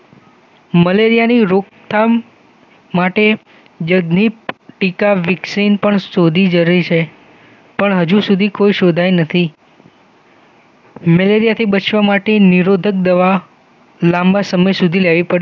મલેરિયાની રોકથામ માટે તો જગનીથ ટીકા વેક્સિન પણ શોધી જરૂરી પણ હજુ સુધી કોઈ શોધાઇ નથી મલેરિયાથી બચવા માટે નિરોધક દવા લાંબા સમય સુધી લેવી પડે છે